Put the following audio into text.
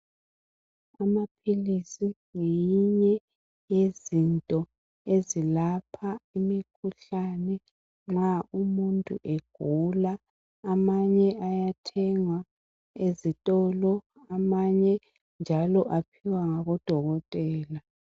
Amaphilisi ngeyinye yezinto ezilapha imikhuhlane nxa umuntu egula amanye ayathengwa ezitolo amanje njalo aphiwa ngabo dokotela.